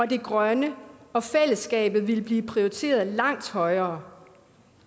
det grønne og fællesskabet ville blive prioriteret langt højere